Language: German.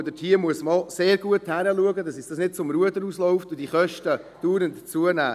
Ich glaube, da muss man gut hinschauen, damit uns dies nicht aus zum Ruder läuft und die Kosten dauernd zunehmen.